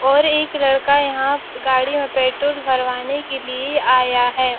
और एक लड़का यहाँ गाड़ी में पेट्रोल भरवाने के लिये आया है।